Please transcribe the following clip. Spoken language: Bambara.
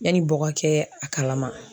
Yanni bɔgɔ kɛ a kalama.